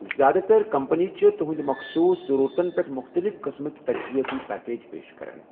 زِیٛادٕ تر کمپنیہِ چھِ تُہنٛدۍ مخصوٗص ضرورتَن پٮ۪ٹھ مُختلِف قٕسمٕک تجزیٲتی پیکج پیش کران۔